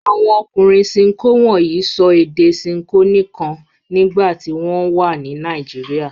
Àwọn ọkùnrin Ṣinkó wọ̀nyí sọ èdè Ṣinkó nìkan nígbà tí wọ́n wà ní Nàìjíríà.